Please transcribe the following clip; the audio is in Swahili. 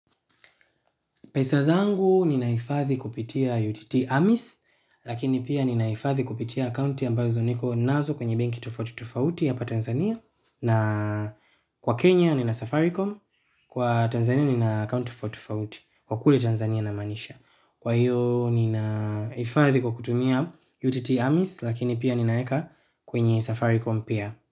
Pesa zangu ninaifadhi kupitia UTT AMIS, lakini pia ninaifadhi kupitia akaunti ambazo niko nazo kwenye benki tofauti tofauti hapa Tanzania. Na kwa Kenya nina Safaricom, kwa Tanzania nina akaunti tofauti tofauti, kwa kule Tanzania na maanisha. Kwa hiyo ninaifadhi kukutumia UTT AMIS, lakini pia ninaweka kwenye Safaricom pia.